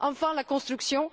Enfin, la construction.